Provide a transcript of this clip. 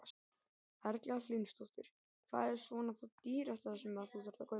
Erla Hlynsdóttir: Hvað er svona það dýrasta sem að þú þarft að kaupa?